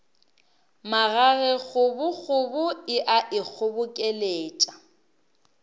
magage kgobokgobo e a ikgobokeletša